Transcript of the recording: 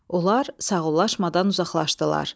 Onlar sağollaşmadan uzaqlaşdılar.